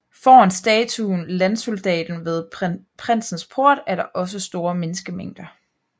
Foran statuen Landsoldaten ved Prinsens Port er der også store menneskemængder